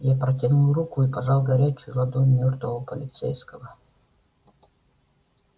я протянул руку и пожал горячую ладонь мёртвого полицейского